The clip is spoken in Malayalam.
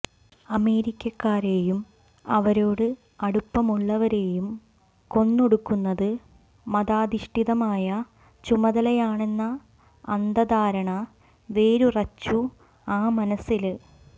അമേരിക്കക്കാരെയും അവരോട് അടുപ്പമുള്ളവരേയും കൊന്നൊടുക്കുന്നത് മതാധിഷ്ഠിതമായ ചുമതലയാണെന്ന അന്ധധാരണ വേരുറച്ചു ആ മനസില്